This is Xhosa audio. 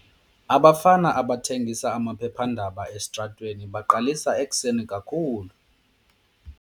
Abafana abathengisa amaphephandaba esitratweni baqalisa ekuseni kakhulu.